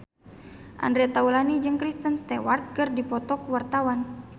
Andre Taulany jeung Kristen Stewart keur dipoto ku wartawan